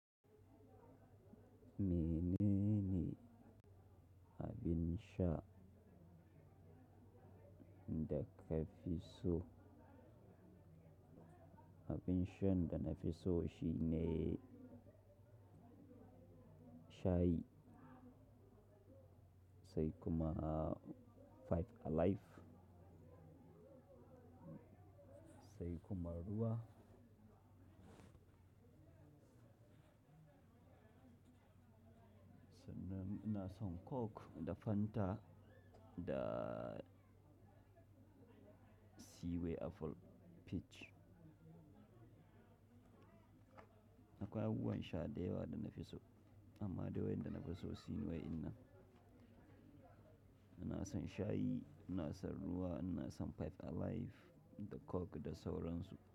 Mene ne abin sha da ka fi so? Abin sha ɗan na fi so shine shayi, sai kuma Five Alive, sai kuma ruwa. Na ina son Coke da Fanta da cway apple peach. Akwai abubuwan sha da yawa da na fi so, amma dai wa'an da na fi so shine wa''ina. Ina son shayi, ina son ruwa, ina son Five Alive da Coke da sauransu.